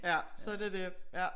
Ja sådan er det ja